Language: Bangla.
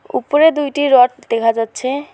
উপরে দুইটি রড দেখা যাচ্ছে।